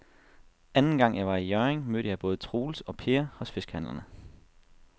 Anden gang jeg var i Hjørring, mødte jeg både Troels og Per hos fiskehandlerne.